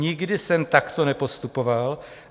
Nikdy jsem takto nepostupoval.